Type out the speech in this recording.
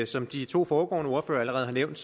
som de to foregående ordførere allerede har nævnt